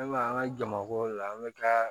An b'a an ka jamako la an bɛ taa